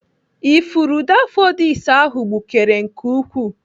Ifuru daffodils ahụ gbukere nke ukwuu.